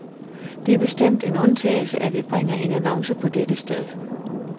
Det er bestemt en undtagelse, at vi bringer en annonce på dette sted.